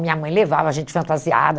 Minha mãe levava a gente fantasiada.